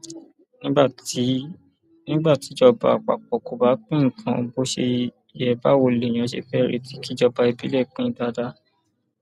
nígbà tíjọba àpapọ kò bá pín nǹkan bó ṣe yẹ báwo lèèyàn ṣe fẹẹ retí kíjọba ìbílẹ pín in dáadáa